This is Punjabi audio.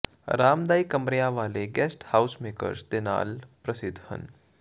ਅਰਾਮਦਾਇਕ ਕਮਰਿਆਂ ਵਾਲੇ ਗੈਸਟ ਹਾਊਸਮੇਕਰਸ ਦੇ ਨਾਲ ਪ੍ਰਸਿੱਧ ਹਨ